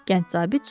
Gənc zabit soruşdu.